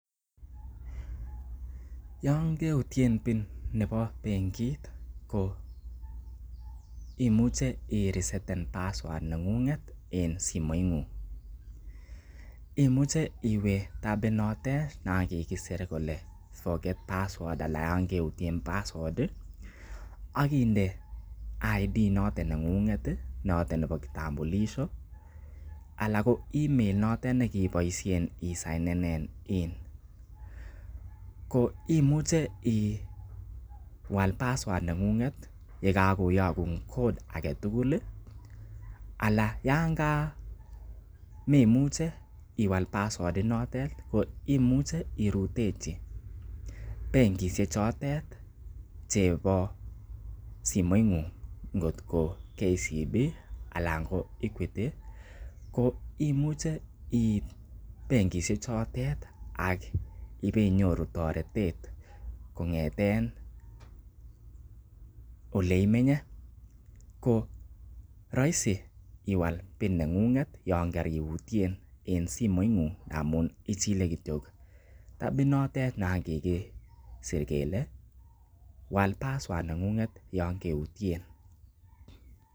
Yon keutyen PINnebo benigit ko imuche iresetn password neng'ung'et en simoing'ung imuche iwe tab inotet nan kigisir kele forget password anan yon keutyen password ak inde ID notet neng'ung'et noton nebo kitambulisho ala ko email ino tet ne kiiboisien isainen in ko imuche iwal passowrd neng'unget ye kagoyokun code age tugul ala yan ka memoche iwal password inotet koimuche irutechi bengishek chotet chebo simoing'ung ngotko KCB anan ko Equity ko imuche iit benkishek chotet ak ibeinyoru toretet kong'eten ole imenye ko roisi iwal PIN neng'ung'et yon koriutyen en simoing'ung ngamun ichile kityo tab inotet nan kigisir kele wal password neng'ung'et yon keutyen.